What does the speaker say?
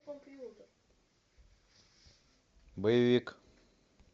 боевик